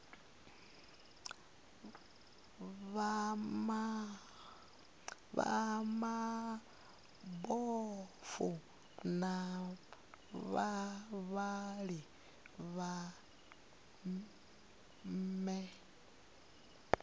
vha mabofu na vhavhali vhane